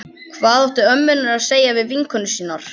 Hvað áttu ömmurnar að segja við vinkonur sínar?